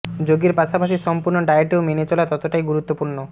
যোগ এর পাশাপাশি সম্পূর্ণ ডায়েটেও মেনে চলা ততটাই গুরুত্বপূর্ণ